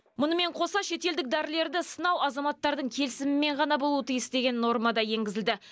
мұнымен қоса шетелдік дәрілерді сынау азаматтардың келісімімен ғана болуы тиіс деген нормада енгізілді